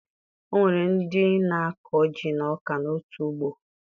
O nwere ndị na-akọ ji na ọka n'otu ugbo